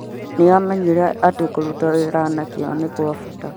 Nĩ aamenyire atĩ kũruta wĩra na kĩyo nĩ kwa bata.